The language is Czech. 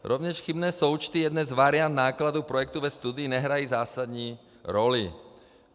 Rovněž chybné součty jedné z variant nákladů projektu ve studii nehrají zásadní roli.